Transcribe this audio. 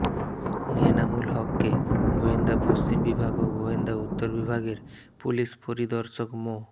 এনামুল হককে গোয়েন্দা পশ্চিম বিভাগ ও গোয়েন্দা উত্তর বিভাগের পুলিশ পরিদর্শক মো